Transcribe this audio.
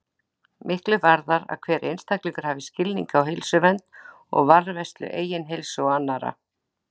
Miklu varðar að hver einstaklingur hafi skilning á heilsuvernd og varðveislu eigin heilsu og annarra.